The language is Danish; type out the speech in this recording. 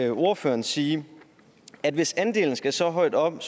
ordføreren sige at hvis andelen skal så højt op